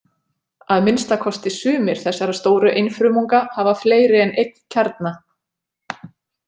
Að minnsta kosti sumir þessara stóru einfrumunga hafa fleiri en einn kjarna.